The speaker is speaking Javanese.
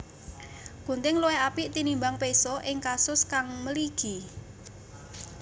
Gunting luwih apik tinimbang péso ing kasus kang mligi